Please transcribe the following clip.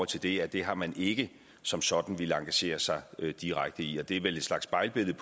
til det at det har man ikke som sådan villet engagere sig direkte i det er vel en slags spejlbillede